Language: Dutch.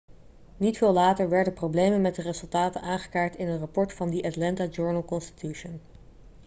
niet veel later werden problemen met de resultaten aangekaart in een rapport van the atlanta journal-constitution